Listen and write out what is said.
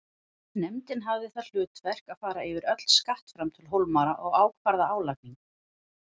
Nefndin hafði það hlutverk að fara yfir öll skattframtöl Hólmara og ákvarða álagningu.